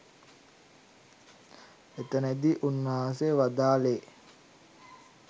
එතනදී උන්වහන්සේ වදාළේ